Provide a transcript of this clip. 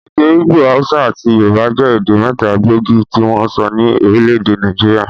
Èdè ìgbò, haúsá àti yorùbá jẹ́ èdè mẹ́ta gbóògì tí wọ́n ń sọ ní orílẹ̀-èdè Nàìjíríà.